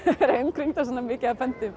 vera umkringd svona mikið af